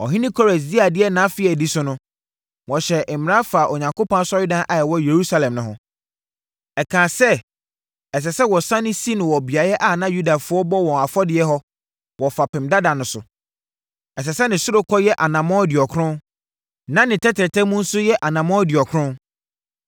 Ɔhene Kores dii adeɛ nʼafe a ɛdi so no, wɔhyɛɛ mmara faa Onyankopɔn asɔredan a ɛwɔ Yerusalem no ho. Ɛkaa sɛ, ɛsɛ sɛ wɔsane si no wɔ beaeɛ a na Yudafoɔ bɔ wɔn afɔdeɛ hɔ, wɔ fapem dada no so. Ɛsɛ sɛ ne ɔsorokɔ yɛ anammɔn aduɔkron, na ne tɛtrɛtɛ mu nso yɛ anammɔn aduɔkron.